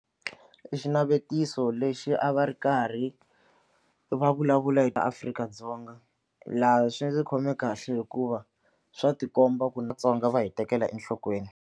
I xinavetiso lexi a va ri karhi va vulavula hi Afrika-Dzonga laha swi ndzi khome kahle hikuva swa tikomba ku na va hi tekela enhlokweni.